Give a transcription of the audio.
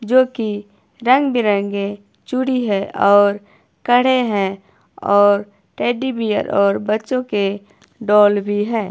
जोकि रंग बिरंगे चूड़ी है और कड़े है और टेडी बियर और बच्चों के डॉल भी है।